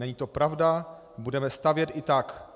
Není to pravda, budeme stavět i tak.